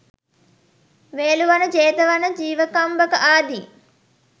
වේලුවන, ජේතවන, ජීවකම්බක ආදී